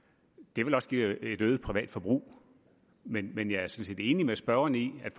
det vil også give et øget privat forbrug men men jeg er sådan set enig med spørgeren i at